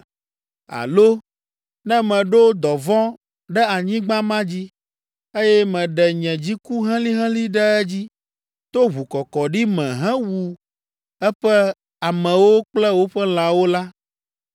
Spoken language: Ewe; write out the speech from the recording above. “Alo ne meɖo dɔvɔ̃ ɖe anyigba ma dzi, eye meɖe nye dziku helĩhelĩ ɖe edzi to ʋukɔkɔɖi me hewu eƒe amewo kple woƒe lãwo la,